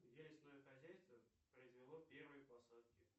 где лесное хозяйство произвело первые посадки